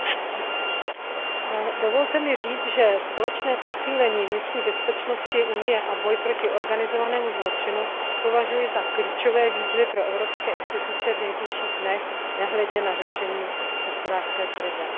Pane předsedající, dovolte mi říci, že společné posílení vnitřní bezpečnosti Unie a boj proti organizovanému zločinu považuji za klíčové výzvy pro evropské instituce v nejbližších dnech, nehledě na řešení hospodářské krize.